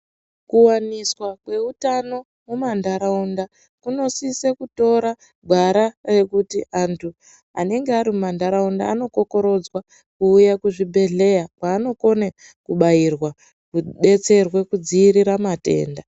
Kuwaniswa kweutano mumanharaunda kunosise kutora gwara rekuti antu anenge ari mumanharaunda vanokokorodzwa kuuya kuzvibhedhlera kwaanokone kubairwa nekudetserwa kudziirira matenda